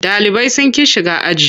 Ɗalibai sun ƙi shiga aji.